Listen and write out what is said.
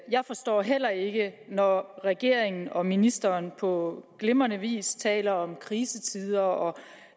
jeg forstår heller ikke når regeringen og ministeren på glimrende vis taler om krisetider og